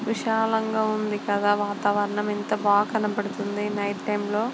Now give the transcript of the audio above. విశాలంగా ఉంది కదా వాతావరణం ఎంత బాగా కనపడుతుంది ఈ నైట్ టైం లో --